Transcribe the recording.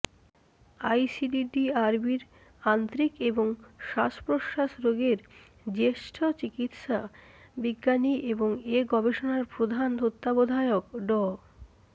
আইসিডিডিআরবির আন্ত্রিক এবং শ্বাসপ্রশ্বাস রোগের জ্যেষ্ঠ চিকিৎসা বিজ্ঞানী এবং এ গবেষণার প্রধান তত্ত্বাবধায়ক ড